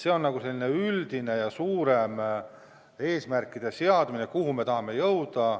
See on selline üldine ja suurem eesmärkide seadmine, kuhu me tahame jõuda.